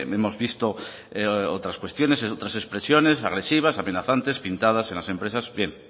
hemos visto otras cuestiones otras expresiones agresivas amenazantes pintadas en las empresas